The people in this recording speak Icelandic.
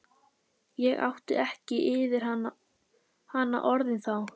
Ég átti ekki yfir hana orðin þá.